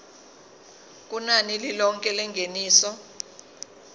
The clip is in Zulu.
kunani lilonke lengeniso